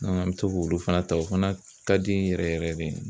an bɛ to k'olu fana ta o fana ka di n yɛrɛ yɛrɛ de ye